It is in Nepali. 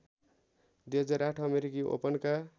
२००८ अमेरिकी ओपनका